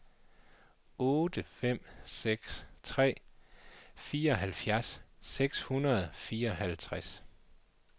otte fem seks tre fireoghalvfjerds seks hundrede og fireoghalvtreds